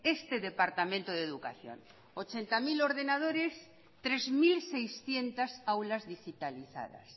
este departamento de educación ochenta mil ordenadores tres mil seiscientos aulas digitalizadas